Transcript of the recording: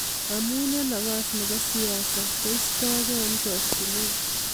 Amu eng nafas nebo siasa koistokei eng chokyinet.